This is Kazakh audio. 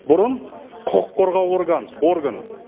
бұрын құқық қорғау оргын